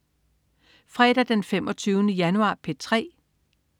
Fredag den 25. januar - P3: